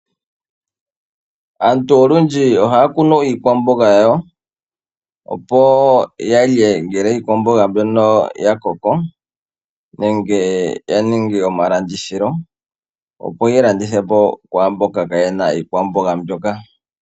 Aantu olundji ohaya kunu iikwamboga yawo, opo ya lye ngele iikwamboga mbyono ya koko nenge ya ninge omalandithilo opo ye yi landithe po kwaamboka kaa ye na iikwamboga mbyoka.